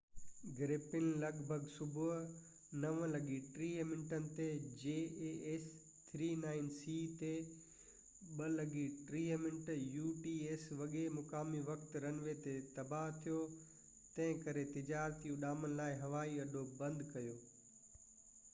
jas 39c گرپين لڳ ڀڳ صبح 9:30 وڳي مقامي وقت 0230 utc تي رن وي تي تباه ٿيو، تنهن ڪري تجارتي اڏامن لاءِ هوائي اڏو بند ڪيو